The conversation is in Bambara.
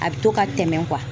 A bɛ to ka tɛmɛ